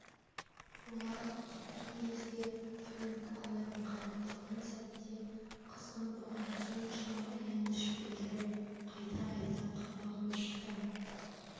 олар кеткен кезде фрэнк аяғын қарап тұрған сәтте қыздың бұған соншама аяныш білдіріп қайта-қайта қабағын шыта